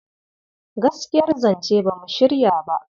Gaskiyar zance ba mu shirya ba..